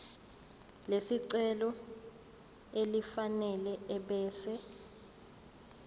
lesicelo elifanele ebese